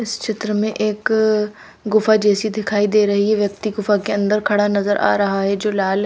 इस चित्र मे एक गुफा जैसी दिखाई दे रही है व्यक्ति गुफा के अंदर खड़ा नजर आ रहा है जो लाल--